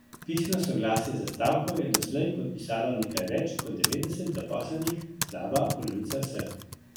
Pisno soglasje za stavko je doslej podpisalo nekaj več kot devetdeset zaposlenih, slaba polovica vseh.